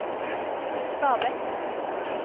Stabekk